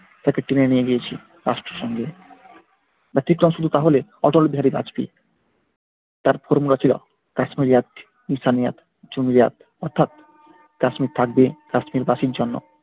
তাকে টেনে নিয়ে গিয়েছি তাহলে অর্থাৎ কাশ্মীরের থাকবে কাশ্মিরবাসীর জন্য।